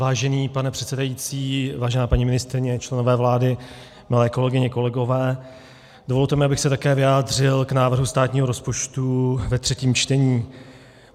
Vážený pane předsedající, vážená paní ministryně, členové vlády, milé kolegyně, kolegové, dovolte mi, abych se také vyjádřil k návrhu státního rozpočtu ve třetím čtení.